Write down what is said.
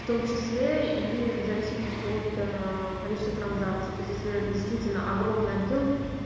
в том числе и в зависимости от количества транзакций то есть если действительно огромный объём